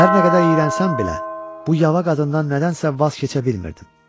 Hər nə qədər iyrənsəm belə, bu yava qadından nədənsə vaz keçə bilmirdim.